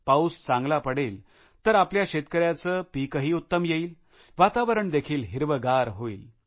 पाऊस चांगला पडेल तर आपल्या शेतकऱ्याचे पिकही उत्तम येईल वातावरण देखील हिरवेगार होईल